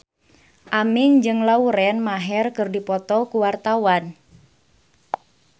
Aming jeung Lauren Maher keur dipoto ku wartawan